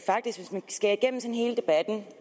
debatten